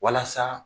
Walasa